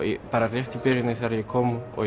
rétt í byrjun þegar ég kom og